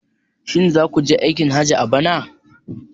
Shin za ku je aikin hajji a bana?